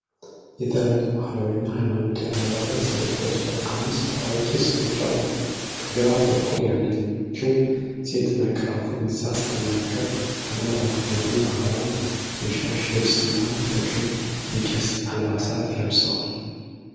የተለያየ ባህላዊና ሃይማኖታዊ አለባበስ የለበሱ አምስት አዋቂ ሰዎች አሉ ። ከግራ በኩል ያለችው ሴት ማይክሮፎን ይዛ ስትናገር ፣ ከመሀል ያሉት ደግሞ በባህላዊ የሻሽ ልብስ እና በቀይ የቄስ አልባሳት ለብሰዋል።